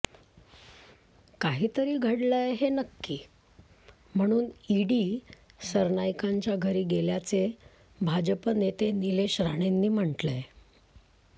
काहीतरी घडलंय हे नक्की म्हणून ईडी सरनाईकांच्या घरी गेल्याचे भाजप नेते निलेश राणेंनी म्हटलंय